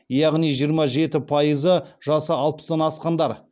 яғни жиырма жеті пайызы жасы алпыстан асқандар